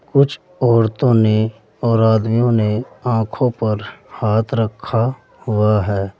कुछ औरतों ने और आदमियों ने आंखों पर हाथ रखा हुआ है।